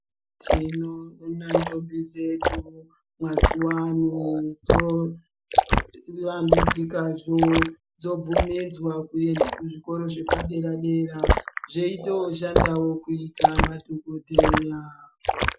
Tinoona ndombi dzedu mazuvano dzovandudzikadzo. Dzobvumidzwa kuenda kuzvikoro zvepadera-dera, dzitoshandawo kuita madhogodheya.